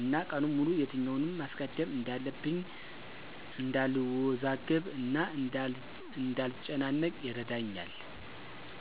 እና ቀኑን ሙሉ የትኛውን ማስቀደም እንዳለብኝ እንዳልወዛገብ እና እንዳልጨናነቅ ይረዳኛል።